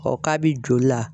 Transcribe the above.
kabi joli la.